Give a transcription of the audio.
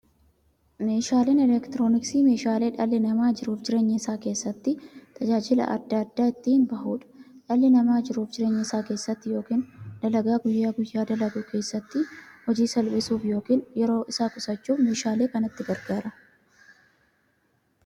Meeshaaleen elektirooniksii meeshaalee dhalli namaa jiruuf jireenya isaa keessatti, tajaajila adda addaa itti bahuudha. Dhalli namaa jiruuf jireenya isaa keessatti yookiin dalagaa guyyaa guyyaan dalagu keessatti, hojii isaa salphissuuf yookiin yeroo isaa qusachuuf meeshaalee kanatti gargaarama.